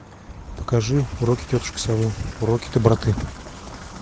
покажи уроки тетушки совы уроки доброты